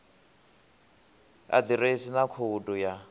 a ḓiresi na khoudu ya